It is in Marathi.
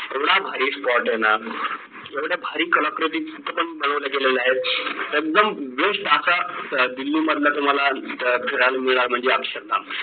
एवढा भारी spot आहे ना एवढ्या भारी कलाकृती इथे पण बनवल्या गेल्या आहेत एकदम best असा दिल्ली मधला तुम्हाला म्हणजे अक्षर धाम